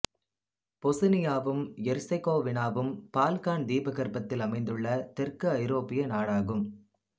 பொசுனியாவும் எர்செகோவினாவும் பால்கான் தீபகற்பத்தில் அமைந்துள்ள தெற்கு ஐரோப்பிய நாடாகும்